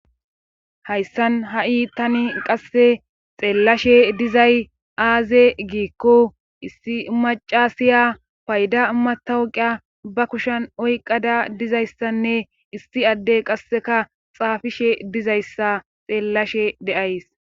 Hayssan ha7i tani qasse xeellashe dizay aaze giikko issi macasiya payda matawqiya ba kushan oyqada dizayssanne issi addey qasseka xaafishe dizayssa xeellashe deays.